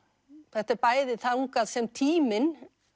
þetta er bæði þangað sem tíminn